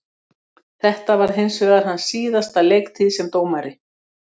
Þetta varð hinsvegar hans síðasta leiktíð sem dómari.